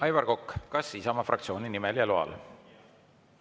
Aivar Kokk, kas Isamaa fraktsiooni nimel ja loal?